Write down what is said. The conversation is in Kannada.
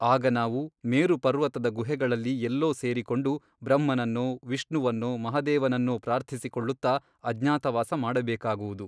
ಆಗ ನಾವು ಮೇರು ಪರ್ವತದ ಗುಹೆಗಳಲ್ಲಿ ಎಲ್ಲೋ ಸೇರಿಕೊಂಡು ಬ್ರಹ್ಮನನ್ನೋ ವಿಷ್ಣುವನ್ನೋ ಮಹಾದೇವನನ್ನೋ ಪ್ರಾರ್ಥಿಸಿಕೊಳ್ಳುತ್ತ ಅಜ್ಞಾತವಾಸ ಮಾಡಬೇಕಾಗುವುದು.